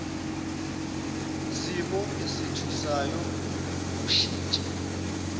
simo esethusayo ngokushintsha